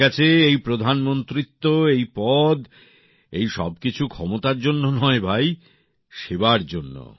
আমার কাছে এই প্রধানমন্ত্রীত্ব এই পদ এই সব কিছু ক্ষমতার জন্য নয় ভাই সেবার জন্য